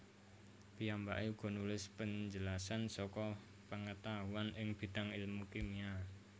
Piyambaké uga nulis penjelasan saka pengetahuan ing bidang ilmu kimia